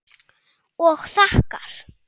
Og þakkar.